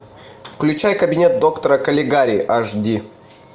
включай кабинет доктора калигари аш ди